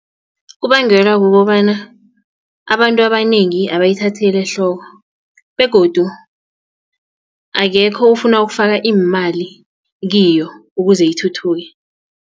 Kubangelwa kukobana abantu abanengi abayithatheli ehloko begodu akekho ufuna ukufaka imali kiyo ukuze ithuthuke.